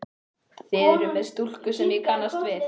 Þið eruð með stúlku sem ég kannast við!